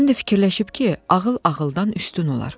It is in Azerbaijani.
Həm də fikirləşib ki, ağıl ağıldan üstün olar.